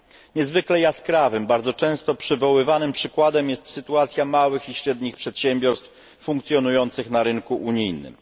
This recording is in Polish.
Niezwykle jaskrawym, bardzo często przywoływanym przykładem jest sytuacja małych i średnich przedsiębiorstw funkcjonujących na rynku unijnym.